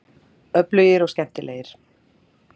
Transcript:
Öflugir og skemmtilegir